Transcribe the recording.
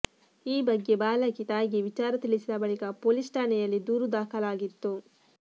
ಈ ಬಗ್ಗೆ ಬಾಲಕಿ ತಾಯಿಗೆ ವಿಚಾರ ತಿಳಿಸಿದ ಬಳಿಕ ಪೋಲಿಸ್ ಠಾಣೆಯಲ್ಲಿ ದೂರು ದಾಖಲಾಗಿತ್ತು